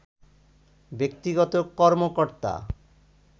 ব্যক্তিগত কর্মকর্তা